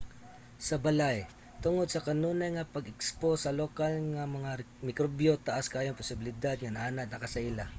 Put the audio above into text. sa balay tungod sa kanunay nga pagka-ekspos sa lokal nga mga mikrobyo taas kaayo ang posibilidad nga naanad naka sa ila